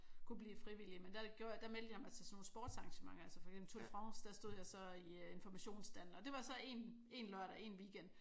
Kunne blive frivillig men der gjorde der meldte jeg mig til sådan nogle sportsarrangementer altså for eksempel Tour de France der stod jeg så i informationsstanden og det var så en lørdag en weekend